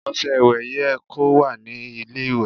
Ọṣẹ ìwẹ̀ yẹ kó wà ní ilé ìwẹ̀.